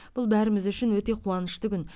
бұл бәріміз үшін өте қуанышты күн